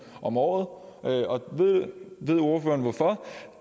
om året og ved ordføreren hvorfor